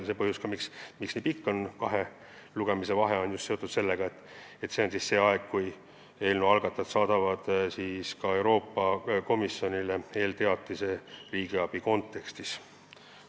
Põhjus, miks kahe lugemise vahe nii pikk on, on seotud just sellega, et see on aeg, kui eelnõu algatajad saadavad Euroopa Komisjonile eelteatise riigiabi teemal.